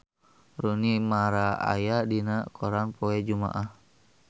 Rooney Mara aya dina koran poe Jumaah